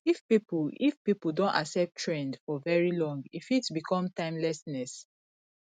if pipo if pipo don accept trend for very long e fit become timelessness